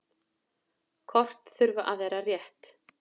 Kort þurfa að vera rétt.